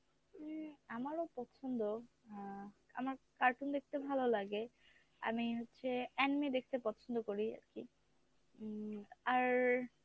উম আমারও পছন্দ আহ আমার cartoon দেখতে ভালো লাগে আমি হচ্ছে anime দেখতে পছন্দ করি আরকি উম আর